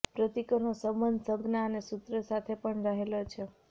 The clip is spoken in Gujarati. પ્રતીકોનો સંબંધ સંજ્ઞા અને સૂત્ર સાથે પણ રહેલો છે